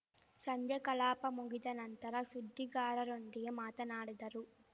ಸಂಜೆ ಕಲಾಪ ಮುಗಿದ ನಂತರ ಸುದ್ದಿಗಾರರೊಂದಿಗೆ ಮಾತನಾಡಿದರು